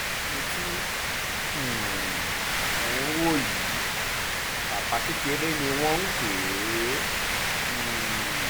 ẹni tí um ẹ̀ ń wò yìí baba kékeré ni wọ́n ń pè é um